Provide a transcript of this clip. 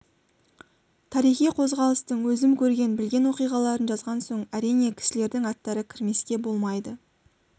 тарихи қозғалыстың өзім көрген білген оқиғаларын жазған соң әрине кісілердің аттары кірмеске болмайды